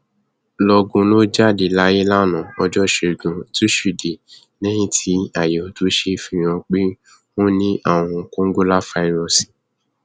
lọgun ló jáde láyé lánàá ọjọ ìṣẹgun túṣídéé lẹyìn tí àyẹwò tó ṣe fi hàn pé ó ní àrùn kòǹgóláfàírọọsì